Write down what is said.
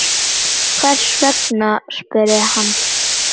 Hvers vegna? spurði hann.